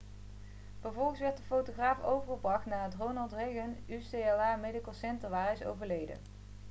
vervolgens werd de fotograaf overgebracht naar het ronald reagan ucla medical center waar hij is overleden